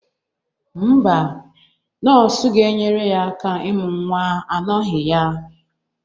Ḿbà. nọọsụ ga-enyere ya aka imụ nwa anọghị ya.